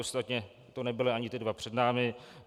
Ostatně to nebyly ani ty dva před námi.